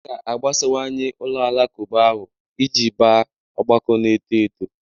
A ga-agbasawanye ụlọ alakụba ahụ iji baa ọgbakọ na-eto eto.